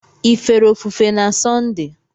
Ị fere ofufe na Sọnde?